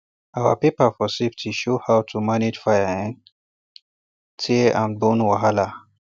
our paper for safety show how to manage fire um tear and bone wahala